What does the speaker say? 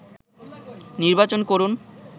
নির্বাচন করুন